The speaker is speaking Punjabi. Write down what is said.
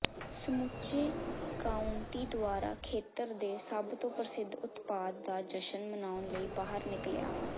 ਸਮੁੱਚੇ ਕਾਉਂਟੀ ਦੁਆਰਾ ਖੇਤਰ ਦੇ ਸਭ ਤੋਂ ਪ੍ਰਸਿੱਧ ਉਤਪਾਦ ਦਾ ਜਸ਼ਨ ਮਨਾਉਣ ਲਈ ਬਾਹਰ ਨਿਕਲਿਆ